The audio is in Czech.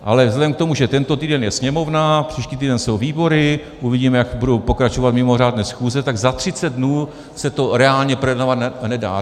Ale vzhledem k tomu, že tento týden je sněmovna, příští týden jsou výbory, uvidíme, jak budou pokračovat mimořádné schůze, tak za 30 dnů se to reálně projednávat nedá.